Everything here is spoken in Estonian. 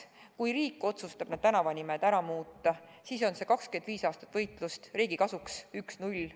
Kui riik otsustab need tänavanimed ära muuta, siis on see 25 aastat võitlust riigi kasuks, 1 : 0.